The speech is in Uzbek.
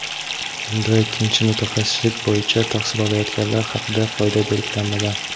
Bunda ikkinchi mutaxassislik bo‘yicha tahsil olayotganlar haqida qoida belgilanmagan.